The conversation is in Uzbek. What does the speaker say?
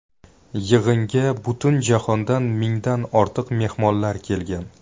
Yig‘inga butun jahondan mingdan ortiq mehmonlar kelgan.